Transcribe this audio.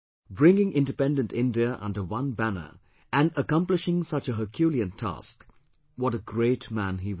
Bringing independent India under one banner and accomplishing such a herculean task what a great man he was